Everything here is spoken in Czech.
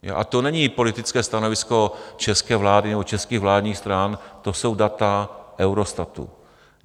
A to není politické stanovisko české vlády nebo českých vládních stran, to jsou data Eurostatu.